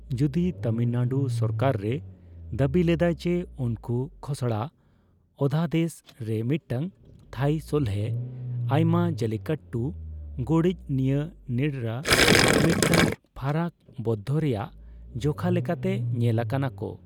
ᱡᱩᱫᱤ ᱛᱟᱢᱤᱞᱱᱟᱰᱩ ᱥᱚᱨᱠᱟᱨ ᱨᱮ ᱫᱟᱵᱤ ᱞᱮᱫᱟᱭ ᱡᱮ ᱩᱱᱠᱩ ᱠᱷᱚᱥᱲᱟ ᱚᱫᱷᱟᱫᱮᱥ ᱨᱮ ᱢᱤᱫᱴᱟᱝ ᱛᱷᱟᱭᱤ ᱥᱚᱞᱦᱮ ᱟᱭᱢᱟ ᱡᱟᱞᱞᱤᱠᱟᱴᱴᱩ ᱜᱚᱲᱤᱪ ᱱᱤᱭᱟᱹ ᱱᱤᱨᱲᱟᱹ ᱢᱤᱫᱴᱟᱝ ᱯᱷᱟᱨᱟᱠ ᱵᱚᱱᱫᱷᱚ ᱨᱮᱭᱟᱜ ᱡᱚᱠᱷᱟ ᱞᱮᱠᱟᱛᱮ ᱧᱮᱞ ᱟᱠᱟᱱᱟ ᱠᱚ ᱾